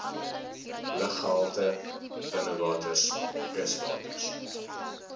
luggehalte binnewaters kuswaters